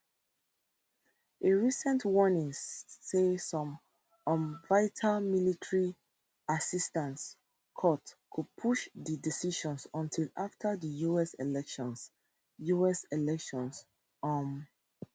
a recent warning say some um vital military assistance cut go push di decision until afta di us elections us elections um